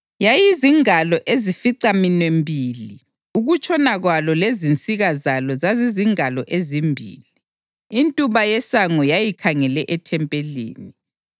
yayizingalo ezificaminwembili ukutshona kwalo lezinsika zalo zazizingalo ezimbili. Intuba yesango yayikhangele ethempelini.